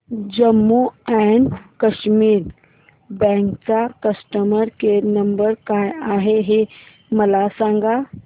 Jammu and Kashmir bank चा customer care number काय आहे हे मला सांगा